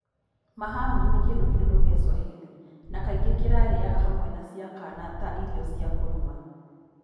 Mahamri, nĩ kĩndũ kĩrũrũ gĩa Swahili, na kaingĩ kĩrarĩaga hamwe na cai kana ta irio cia kũnyua.